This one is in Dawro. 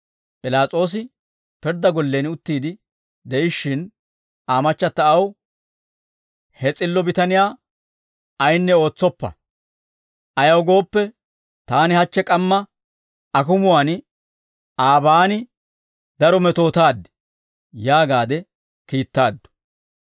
P'ilaas'oosi pirddaa gollen utti de'ishshin, Aa machchata aw, «He s'illo bitaniyaa ayinne ootsoppa; ayaw gooppe, taani hachche k'amma akumuwaan aabaan daro metootaad» yaagaade kiittaaddu.